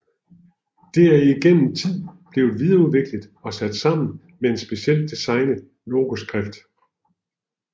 Det er igennem tiden blevet videreudviklet og sat sammen med en specielt designet logoskrift